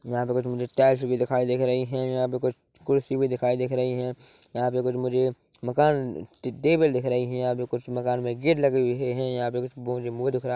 यहाँ पे कुछ मुझे टाइल्स भी दिखाई दिख रही है यहाँ पे कुछ कुर्सी भी दिखाई दिख रही है यहाँ पर कुछ मुझे मकान टे टेबल दिख रही है यहाँ पे कुछ मकान में गेट लगे हुए है यहाँ पर कुछ दिख रा --